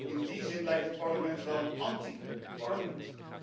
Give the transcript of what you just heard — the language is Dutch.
In die zin lijkt het Parlement wel een anti parlement.